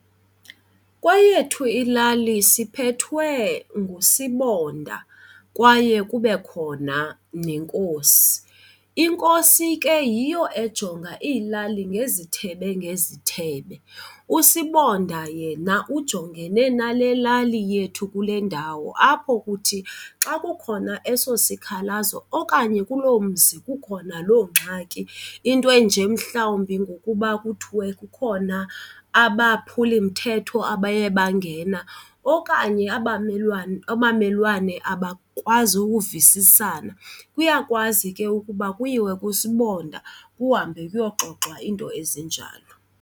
Kweyethu ilali sibethwe ngusibonda kwaye kube khona nenkosi. Inkosi ke yiyo ejonga iilali ngezithebe ngezithebe. Usibonda yena ujongene nale lali yethu kule ndawo apho kuthi xa kukhona eso sikhalazo okanye kuloo mzi kukhona loo ngxaki into enje mhlawumbi ngokuba kuthiwe kukhona abaphulimthetho abaye bangena okanye abamelwane abamelwane abakwazi ukuvisisana kuyakwazi ke ukuba kuyiwe kusibonda kuhambe kuyaxoxwa iinto ezinjalo.